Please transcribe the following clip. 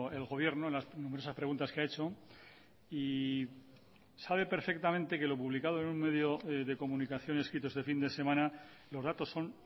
el gobierno en las numerosas preguntas que ha hecho y sabe perfectamente que lo publicado en un medio de comunicación escrito este fin de semana los datos son